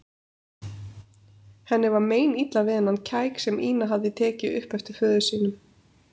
Henni var meinilla við þennan kæk sem Ína hafði tekið upp eftir föður sínum.